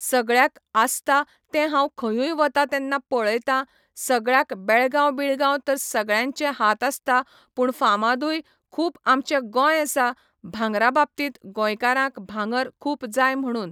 सगळ्याक आसता तें हांव खयूंय वता तेन्ना पळयतां सगळ्याक बेळगांव बिळगांव तर सगळ्यांचे हात आसता पूण फामादूय खूब आमचें गोंय आसा भांगरा बाबतींत गोंयकारांक भांगर खूब जाय म्हणून